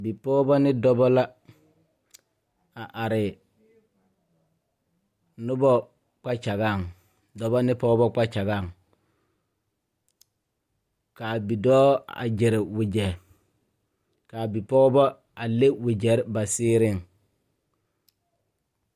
Bipɔgeba ne dɔba la a are noba kpakyagaŋ dɔba ne pɔgeba kpakyagaŋ k,a bidɔɔ a gyere wagyɛ k,a bipɔgeba a le wagyere ba seereŋ.